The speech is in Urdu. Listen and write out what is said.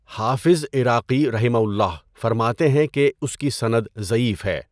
حافظ عراقی رَحِمَہُ اللہ فرماتے ہیں کہ اس کی سند ضعیف ہے۔